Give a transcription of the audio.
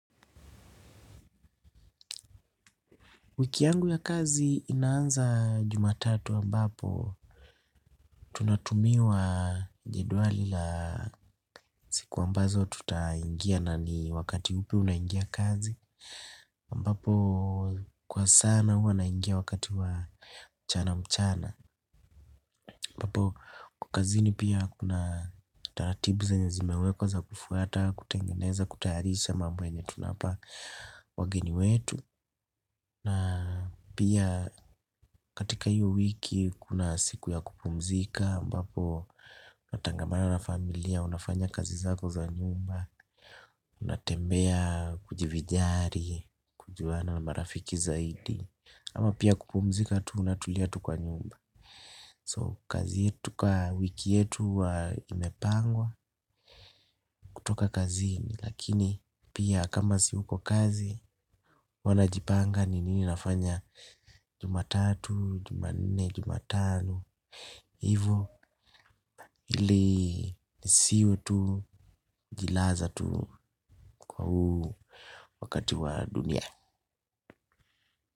Wiki yangu ya kazi inaanza jumatatu wa mbapo tunatumiwa jedwali la siku ambazo tutaingia na ni wakati upi unaingia kazi. Ambapo kwa sana huwa naingia wakati wa mchana mchana. Mbapo kazini pia kuna taratibu za zenye zime wekwa za kufuata, kutengeneza, kutayarisha mambo yenye tunawapa wageni wetu. Na pia katika iyo wiki kuna siku ya kupumzika ambapo natangamana na familia unafanya kazi zako za nyumba. Unatembea kujivinjari, kujuana marafiki zaidi. Ama pia kupumzika tu unatulia tu kwa nyumba So kazi yetu kwa wiki yetu imepangwa kutoka kazini. Lakini pia kama si uko kazi wana jipanga ni nini nafanya Jumatatu, jumanne, jumatano. Hivyo ili nisiwe tu jilaza tu kwa huu wakati wa dunia.